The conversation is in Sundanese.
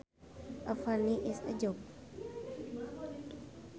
A funny is a joke